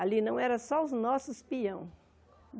Ali não eram só os nossos peões.